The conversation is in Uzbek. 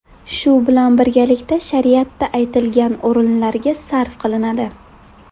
Shu bilan birgalikda shariatda aytilgan o‘rinlarga sarf qilinadi.